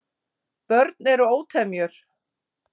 Börn eru ótemjur.